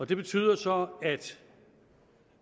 det betyder så at